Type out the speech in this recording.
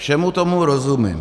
Všemu tomu rozumím.